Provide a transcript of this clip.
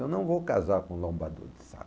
Eu não vou casar com lombador de saco.